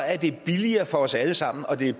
er det billigere for os alle sammen og det er